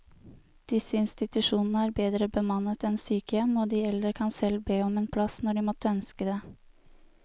Disse institusjonene er bedre bemannet enn sykehjem, og de eldre kan selv be om en plass når de måtte ønske det.